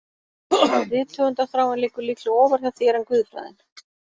Rithöfundarþráin liggur líklega ofar hjá þér en guðfræðin